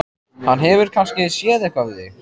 Hann hefur kannski séð eitthvað við þig!